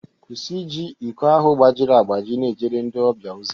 kwụsị iji iko ahụ gbajiri agbaji na-ejere ndị ọbịa ozi